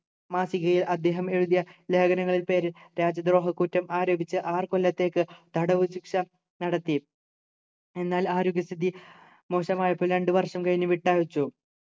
മാസികയിൽ അദ്ദേഹം എഴുതിയ ലേഖനങ്ങളിൽ പേരിൽ രാജ്യദ്രോഹക്കുറ്റം ആരോപിച്ചു ആറു കൊല്ലത്തേക്ക് തടവുശിക്ഷ നടത്തി എന്നാൽ ആരോഗ്യസ്ഥിതി മോശമായപ്പോൾ രണ്ടു വർഷം കഴിഞ്ഞു വിട്ടയച്ചു